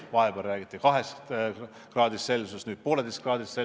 Vahepeal räägiti 2 kraadist, nüüd räägitakse 1,5 kraadist.